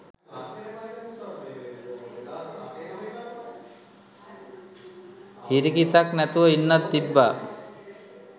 හිරිකිතක් නැතුව ඉන්නත් තිබ්බා.